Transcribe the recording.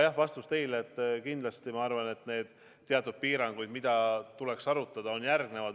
Aga vastus teile: ma arvan, et need teatud piirangud, mida tuleks arutada, on järgmised.